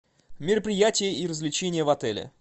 мероприятия и развлечения в отеле